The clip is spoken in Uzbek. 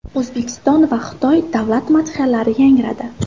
O‘zbekiston va Xitoy davlat madhiyalari yangradi.